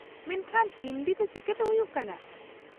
ᱢᱮᱱᱠᱷᱟᱱ ᱦᱤᱱᱫᱤ ᱛᱮ ᱪᱤᱠᱟᱹᱛᱮ ᱦᱩᱭᱩᱜ ᱠᱟᱱᱟ ?